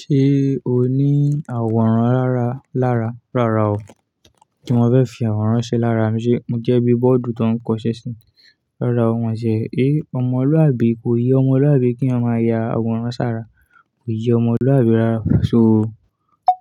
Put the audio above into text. Ṣé o ní àwòrán lára lára? Rárá o, kí mo fẹ́ fi àwòrán ṣe lára. Mi ṣe, mo jẹ́ bí bọ́ọ̀dù tó ń kọṣẹ́ sí i. Rárá o, wọ́n ṣé, ẹ́, ọmọlúàbí kò yẹ ọmọlúàbí kí ó máa ya àwòrán sára, kò yẹ ọmọlúàbí rárá. So o,